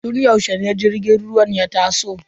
Tun yaushe ne jirgin ruwan ya taso?